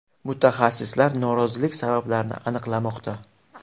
Mutaxassislar nosozlik sabablarini aniqlamoqda.